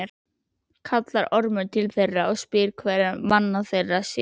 Kallar Ormur til þeirra og spyr hverra manna þeir séu.